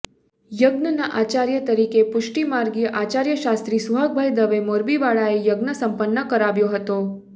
યજ્ઞના આચાર્ય તરીકે પુષ્ટિમાર્ગીય આચાર્ય શાસ્ત્રી સુહાગભાઇ દવે મોરબીવાળાએ યજ્ઞ સંપન્ન કરાવ્યેા હતેા